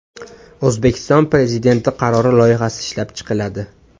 O‘zbekiston Prezidenti qarori loyihasi ishlab chiqiladi.